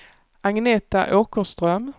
Agneta Åkerström